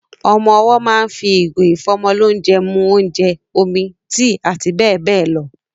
Ọmọ owọ́ máa ń fi ìgò ìfọ́mọlónjẹ mu óúnjẹ, omi, tíì àti bẹ́ẹ̀ bẹ́ẹ̀ lọ.